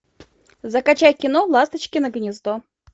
закачай кино ласточкино гнездо